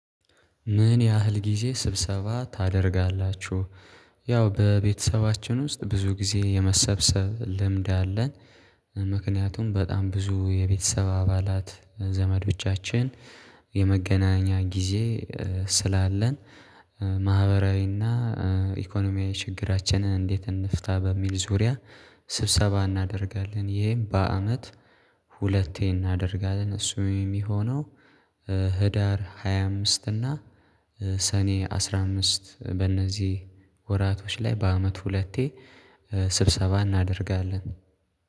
ምን ያህል ጊዜ ስብሰባ ታደርጋላችሁ? ያው በቤተሰባችን ውስጥ ብዙ ጊዜ የመሰብሰብ ልምድ አለ። ምክንያቱም በጣም ብዙ የቤተሰብ አባላት ዘመዶቻችን የመገናኛ ጊዜ ስላለን ማህበራዊና ኢኮኖሚያዊ ችግራችንን እንዴት እንፍታ በሚል ዙሪያ ስብሰባ እናደርጋለን። ይሄም በአመት ሁለቴ እናደርጋለን እሱም የሚሆነው ህዳር ሃያ አምስት እና ሰኔ አስራ አምስት በእነዚህ ወራቶች ላይ በአመት ሁለቴ ስብሰባ እናደርጋለን።